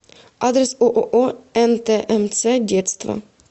адрес ооо нтмц детство